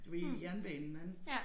Du ved jernbanen anden